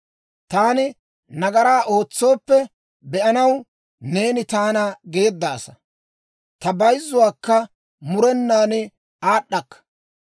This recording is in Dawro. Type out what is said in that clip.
Taani nagaraa ootsooppe be'anaw, neeni taana geeddaasa; ta bayzzuwaakka murenaan aad'd'akka.